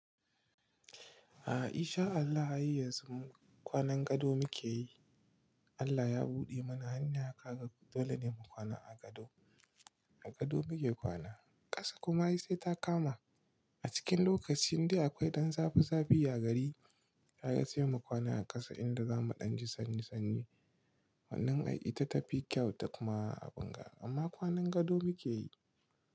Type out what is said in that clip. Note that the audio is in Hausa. A'a in sha Allah a yayin yanzu kwanan gado muke yi. Allah ya buɗe mana hanyar haka dole ne mu kwana a gado. A gado muke kwana ƙasa kuma sai ta kama a cikin lokacin dai akwai ɗan zafi zafi ya gari. Ai sai mu kwana a ƙasa inda za mu ɗan ji sanni sanni. Wannan ai ita ta fi kyau ta kuma aɓinga amma kwanan gado muke yi.